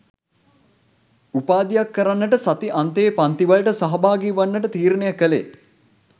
උපාධියක් කරන්නට සති අන්තයේ පන්ති වලට සහභාගි වන්නට තීරණය කළේ